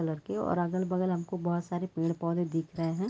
लड़के और अगल बगल हमको बहोत सारे पेड़ पौधे दिख रहे है।